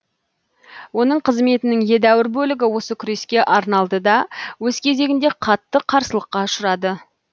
оның қызметінің едәуір бөлігі осы күреске арналды да өз кезегінде қатты қарсылыққа ұшырады